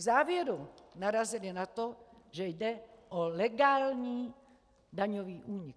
V závěru narazily na to, že jde o legální daňový únik.